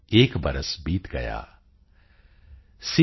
ਏਕ ਬਰਸ ਬੀਤ ਗਯਾ॥